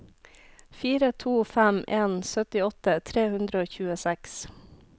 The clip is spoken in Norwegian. fire to fem en syttiåtte tre hundre og tjueseks